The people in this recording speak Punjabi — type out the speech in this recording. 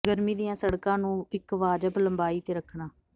ਗਰਮੀ ਦੀਆਂ ਸੜਕਾਂ ਨੂੰ ਇੱਕ ਵਾਜਬ ਲੰਬਾਈ ਤੇ ਰੱਖਣਾ